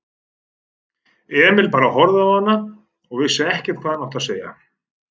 Emil bara horfði á hana og vissi ekkert hvað hann átti að segja.